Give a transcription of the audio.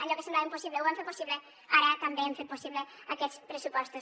allò que semblava impossible ho vam fer possible ara també hem fet possible aquests pressupostos